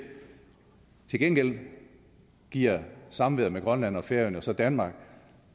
til gengæld giver samværet med grønland og færøerne så danmark